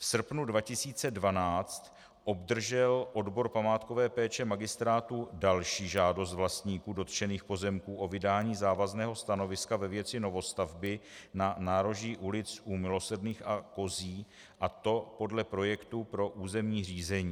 V srpnu 2012 obdržel odbor památkové péče magistrátu další žádost vlastníků dotčených pozemků o vydání závazného stanoviska ve věci novostavby na nároží ulic U Milosrdných a Kozí, a to podle projektu pro územní řízení.